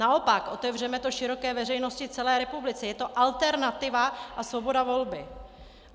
Naopak, otevřeme to široké veřejnosti, celé republice, je to alternativa a svoboda volby.